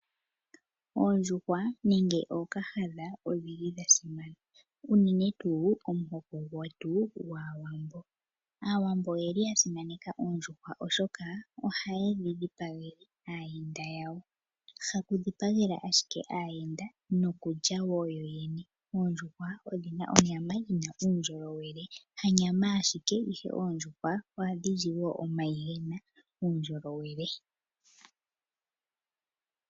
Oondjuhwa nenge ookahadha odhili dha simana unene tuu momuhoko gwAawambo, aawambo oyeli yasimaneka oondjuhwa oshoka oha yedhi dhipagele aayenda yawo nenge haye dhi dhipaga yalye yoyene oondjuhwa odhina uundjolowele , ka kele konyama oha dhizi wo omayi ngono gena uundjolowele.